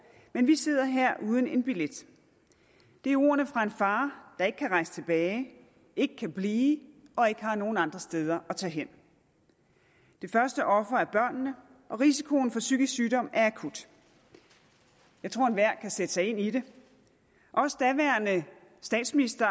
men vi sidder her uden en billet det er ordene fra en far der ikke kan rejse tilbage ikke kan blive og ikke har nogen andre steder at tage hen det første offer er børnene og risikoen for psykisk sygdom er akut jeg tror at enhver kan sætte sig ind i det også daværende statsminister